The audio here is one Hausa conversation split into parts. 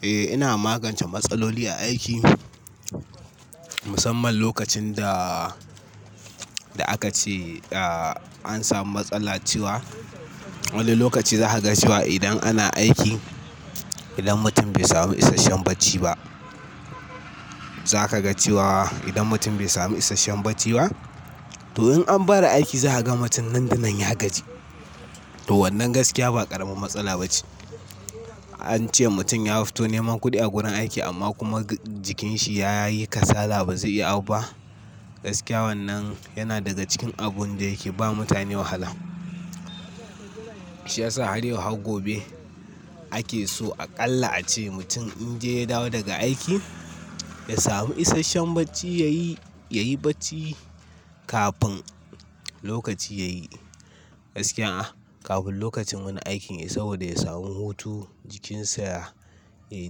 Eh, ina magance matsaloli a aiki. Musamman lokacin da aka ce an samu matsala cewa, wani lokaci za ka ga cewa idan ana aiki, idan mutum bai samu isasshen bacci ba, za ka ga cewa idan mutum bai samu isasshen bacci ba, to in an fara aiki zaka ga mutum dandanan ya gaji. To wannan gaskiya ba ƙaramin matsala ba ce. Ance mutum ya fito neman kuɗi a gurin aiki amma kuma jikinshi yayi kasala ba zai iya abu ha gaskiya wannan yana daga cikin abun da yake ba mutane wahala. Shi ya sa har yau har gobe ake so aƙalla a ce mutum in dai ya dawo daga aiki, ya samu isasshen bacci, yayi bacci kafin lokaci yayi. Gaskiya kafin lokacin wani aikin yayi saboda ya samu hutu, jikinsa ya yi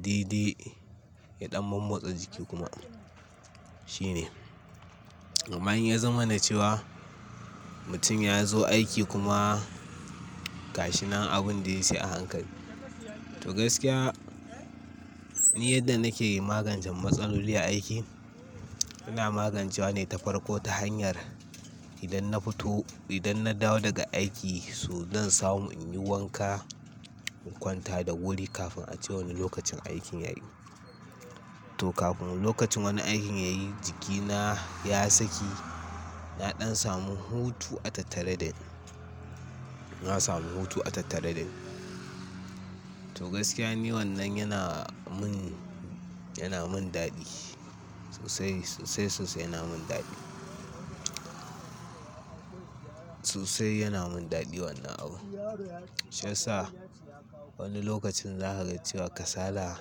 daidai, ya ɗan mammotse jiki kuma. Shine. Amma in ya zama na cewa mutum ya zo aiki kuma gashinan abun da ya yi sai a hankali. To gaskiya ni yadda nake magancen matsaloli a aiki, ina magancewa ne ta farko ta hanyar idan na fito, idan na dawo daga aiki, so zan samu in yi wanka, in kwanta da wuri kafin ace wani lokacin aikin yayi. To kafin lokacin wani aikin yayi jikina ya saki, na ɗan samu hutu a tattare da ni. Na samu hutu a tattare da ni. To gaskiya ni wannan yana min, yana min daɗi. Sosai, sosai, sosai yana min daɗi. Sosai yana min daɗi wannan abu. Shi ya sa wani lokacin za ka ga cewa kasala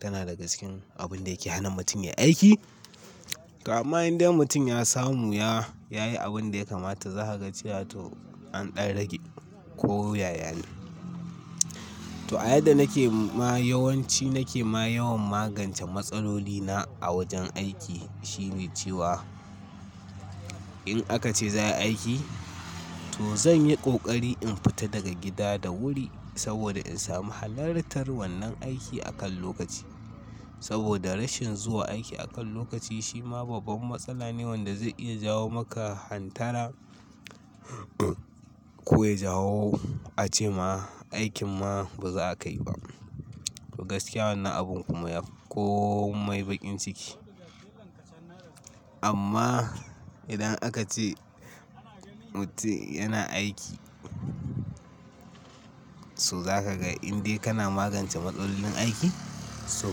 tana daga cikin abun da yake hana mutum ya yi aiki. Amma indai mutum ya samu, ya yi abin da ya kamata, za ka ga cewa to an ɗan rage ko ya yane. To a yadda nake ma yawanci nake ma yawan magance matsalolina a wajen aiki shine cewa in aka ce za a yi aiki, to zan yi ƙoƙari in fita daga gida da wuri saboda in samu halartar wannan aiki akan lokaci. Saboda rashin zuwa aiki akan lokaci shi ma babban matsala ne wanda zai iya jawo maka hantara ko ya jawo a ce ma aikin ma ba za ka yi ba. To gaskiya wannan abun kuma yafi komai baƙin ciki. Amma idan aka ce mutum yana aiki, to za ka ga indai kana magance matsalolin aiki, to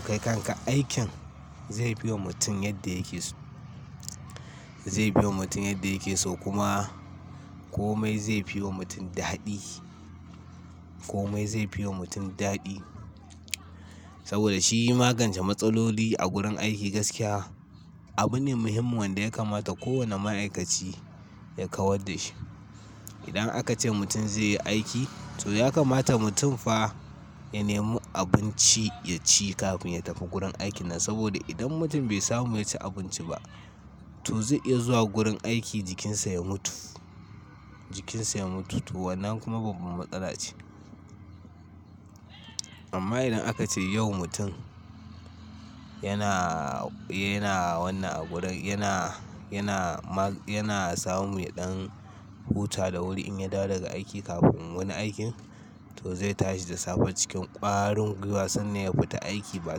kai kanka aikin zai biyo mutum yadda yake so. Zai biyo mutum yadda yake so kuma komai zai fiwa mutum daɗi. Komai zai fiwa mutum daɗi. Saboda shi magance matsaloli a gurin aiki gaskiya abu ne muhimmin wanda ya kamata kowane ma'aikaci ya kawar da shi. Idan aka ce mutum zai yi aiki, to ya kamata mutum fa ya nemi abinci ya ci kafin ya tafi gurin aikinasa. Saboda idan mutum bai samu ya ci abinci ba, to zai iya zuwa gurin aiki jikinsa ya mutu. Jikinsa ya mutu. To wannan kuma babban matsala ce. Amma idan aka ce yau mutum yana, yana wannan abun, yana, yana, yana samu ya ɗan huta da wuri in ya dawo daga aiki kafin wani aiki, to zai tashi da safe cikin ƙwarin gwiwa sannan ya fita aiki ba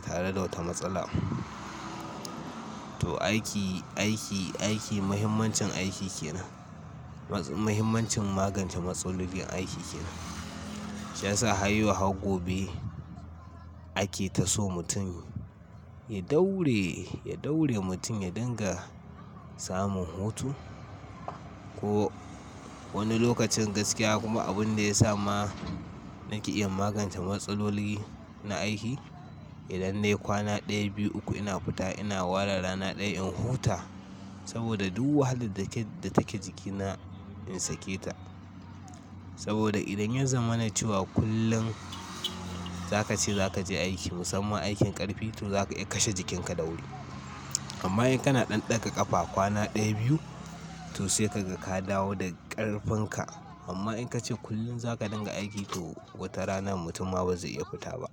tare da wata matsala ba. To aiki, aiki, aiki, mahimmancin aiki kenan. Mahimmancin magance matsalolin aiki kenan. Shi ya sa har yau har gobe ake ta so mutum ya daure, ya daure mutum ya dinga samun hutu. Ko wani lokacin gaskiya kuma abun da ya sa ma nake iya magance matsaloli na aiki, idan dai kwana ɗaya, biyu, uku ina fita ina ware rana ɗaya in huta saboda duk wahalar da take jikina in sake ta. Saboda idan ya zama na cewa kullum za ka ce za ka je aiki musamman aikin ƙarfi, to za ka iya kashe jikinka da wuri. Amma in kana ɗan ɗaga ƙafa kwana ɗaya, biyu to sai kaga ka dawo da ƙarfin ka. Amma in ka ce kullum za ka dinga aiki to wata rana mutum ma bazai iya fita ba.